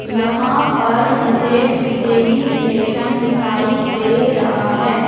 यहां पर मुझे झुकेही स्टेशन दिखाई दे रहा है।